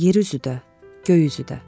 Yer üzü də, göy üzü də.